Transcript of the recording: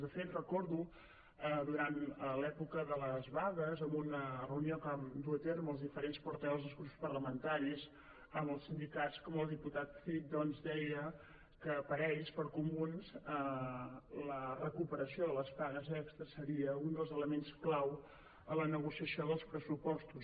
de fet recordo durant l’època de les vagues en una reunió que vam dur a terme els diferents portaves dels grups parlamentaris amb els sindicats que el diputat cid doncs deia que per a ells per a comuns la recuperació de les pagues extres seria un dels elements clau en la negociació dels pressupostos